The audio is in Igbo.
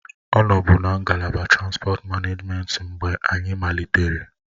Ọ nọbu na ngalaba transipọt manejment mgbe anyị malitere